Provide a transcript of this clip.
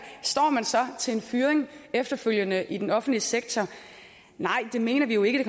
står man så til en fyring efterfølgende i den offentlige sektor nej det mener vi jo ikke